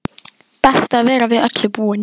Best að vera við öllu búinn!